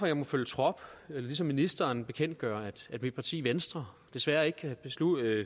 jeg må følge trop og ligesom ministeren bekendtgøre at mit parti venstre desværre ikke kan